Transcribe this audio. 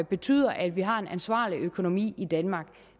betyder at vi har en ansvarlig økonomi i danmark